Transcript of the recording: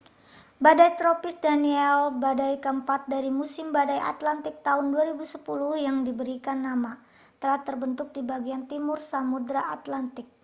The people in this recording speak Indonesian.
badai tropis danielle badai keempat dari musim badai atlantik tahun 2010 yang diberikan nama telah terbentuk di bagian timur samudera atlantik